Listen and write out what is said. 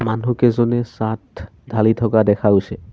মানুহকেইজনে চাট ঢালি থকা দেখা গৈছে।